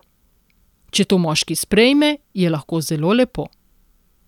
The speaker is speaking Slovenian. Če to moški sprejme, je lahko zelo lepo.